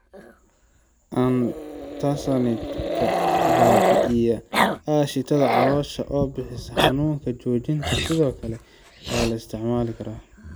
Antacids-ka baabi'iya aashitada caloosha oo bixisa xanuun joojinta sidoo kale waa la isticmaali karaa.